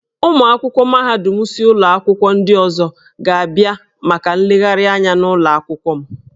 Ụmụ akwụkwọ mahadum si ụlọ akwụkwọ ndị ọzọ ga-abịa maka nlegharị anya n'ụlọ akwụkwọ m.